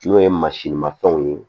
N'o ye masirimafɛnw ye